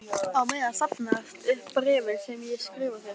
Á meðan safnast upp bréfin sem ég skrifa þér.